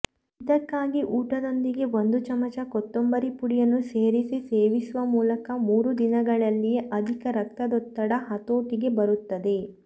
ಇದಕ್ಕಾಗಿ ಊಟದೊಂದಿಗೆ ಒಂದು ಚಮಚ ಕೊತ್ತಂಬರಿ ಪುಡಿಯನ್ನು ಸೇರಿಸಿ ಸೇವಿಸುವ ಮೂಲಕ ಮೂರು ದಿನಗಳಲ್ಲಿಯೇ ಅಧಿಕ ರಕ್ತದೊತ್ತಡ ಹತೋಟಿಗೆ ಬರುತ್ತದೆ